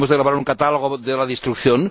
hemos de grabar un catálogo de la destrucción.